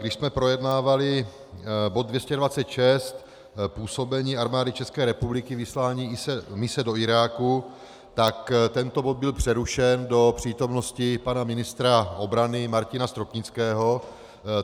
Když jsme projednávali bod 226, působení Armády České republiky, vyslání mise do Iráku, tak tento bod byl přerušen do přítomnosti pana ministra obrany Martina Stropnického.